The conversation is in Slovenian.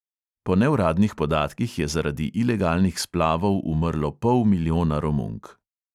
Po neuradnih podatkih je zaradi ilegalnih splavov umrlo pol milijona romunk.